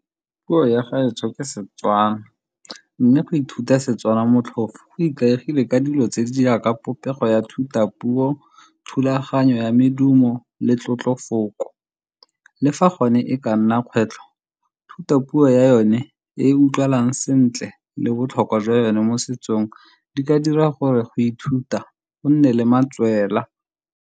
Puo ya gaetsho ke Setswana mme go ithuta Setswana motlhofo go ikaegile ka dilo tse di jaaka popego ya thutapuo, thulaganyo ya medumo le tlotlo mafoko. Le fa gone e ka nna kgwetlho thutopuo ya yone e e utlwalang sentle le botlhokwa jwa yone mo setsong di ka dira gore go ithuta go nne le matswela.